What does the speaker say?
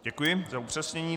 Děkuji za upřesnění.